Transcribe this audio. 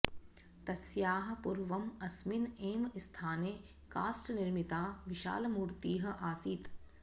तस्याः पूर्वम् अस्मिन् एव स्थाने काष्ठनिर्मिता विशालमूर्तिः आसीत्